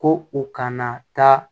Ko u kana taa